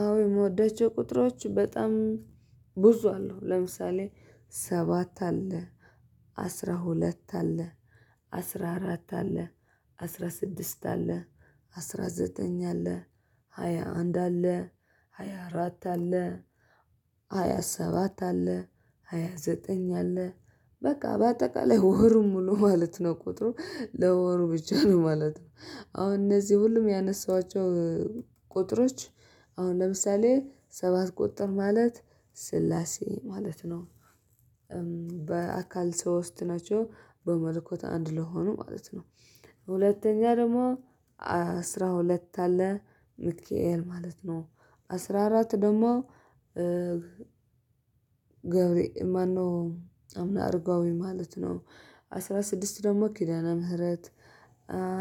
አዎ የምወዳቸው ቁጥሮች በጣም ብዙ አሉ ለምሳሌ ሰባት አለ። አስራ ሁለት አለ። አስራ አራት አለ። አስራ ስድስት አለ። አስራ ዘጠኝ አለ። ሃያ አንድ አለ። ሃያ አራት አለ። ሃያ ሰባት አለ። ሃያ ዘጠኝ አለ። በቃ በአጠቃላይ ወሩን ሙሉ ማለት ነው ቁጥሩ ለወሩ ብቻ ነው ማለት ነው። አሁን እነዚህ ሁሉም ያነሳኋቸው ቁጥሮች አሁን ለምሳሌ ሰባት ቁጥር ማለት ስላሴ ማለት ነው። በአካል ሶስት ናቸው በመልኮት አንድ ለሆኑ ማለት ነው። ሁለተኛ ደግሞ አስራ ሁለት አለ ሚክኤል ማለት ነው። አስራ አራት ደግሞ ገብሬ ማነው አቡነ አርጋዊ ማለት ነው። አስራ ስድስት ደግሞ ኪዳና ምህረት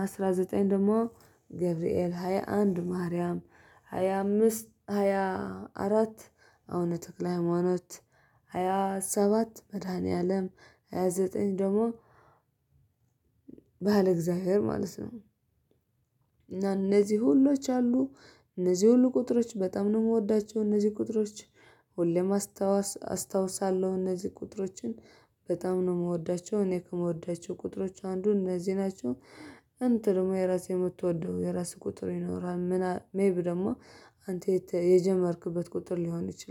አስራ ዘጠኝ ደግሞ ገብርኤል ሃያ አንድ ማርያም ሃያ አምስት ሃያ አራት አቡነ ተክለ ሃይማኖት። ሃያ ሰባት መድኃኒዓለም ሃያ ዘጠኝ ደግሞ ባለ እግዚአብሔር ማለት ነው። እና እነዚህ ሁሎች አሉ እነዚህ ሁሉ ቁጥሮች በጣም ነው የምወዳቸው። እነዚህ ቁጥሮች ሁሌም አስታውሳለሁ እነዚህ ቁጥሮችን በጣም ነው የምወዳቸው። እኔ ከምወዳቸው ቁጥሮች አንዱ እነዚህ ናቸው። እንትን ደግሞ የራሴ የምትወደው የራስህ ቁጥር ይኖራል ምናምን ሜብ ደግሞ አንተ የጀመርክበት ቁጥር ሊሆን ይችላል